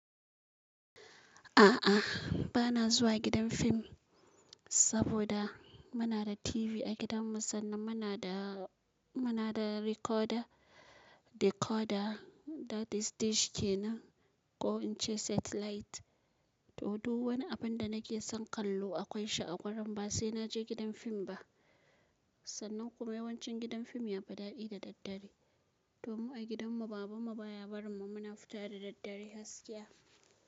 A'a, bana zuwa gidan film saboda muna da TV a gidanmu sannan muna da recorder decoder da dish kenan ko in ce satellite. To, duk wani abin da nake son kallo akwai shi a gurin ba sai na je gidan film ba. Sannan kuma yawancin gidan film yafi daɗi da daddare, to mu a gidanmu babanmu baya barin mu muna fita da daddare gaskiya.